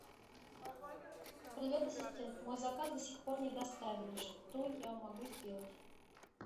привет ассистент мой заказ до сих пор не доставили что я могу сделать